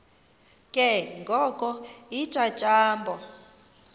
ke ngoko iintyatyambo